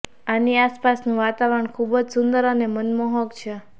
આની આસપાસનું વાતાવરણ ખુબ જ સુંદર અને મનમોહક છે